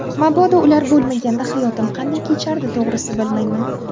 Mabodo ular bo‘lmaganda hayotim qanday kechardi to‘g‘risi, bilmayman.